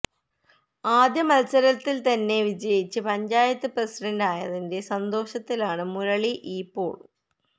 ആദ്യ മത്സരത്തില് തന്നെ വിജയിച്ച് പഞ്ചായത്ത് പ്രസിഡന്റ് ആയതിന്റെ സന്തോഷത്തിലാണ് മുരളിയിപ്പോള്